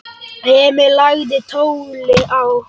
Emil lagði tólið á.